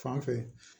Fan fɛ